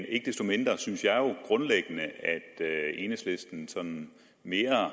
ikke desto mindre synes jeg grundlæggende at enhedslisten mere